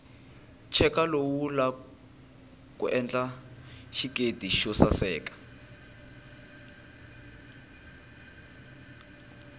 cheka lowu wula endla xiketi xosaseka